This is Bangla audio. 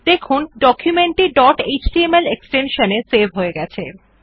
দেখুন ডকুমেন্ট টি ডট এচটিএমএল এক্সটেনশন দিয়ে সেভ হয়ে গেছে